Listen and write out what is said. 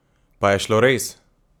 Pa je šlo res?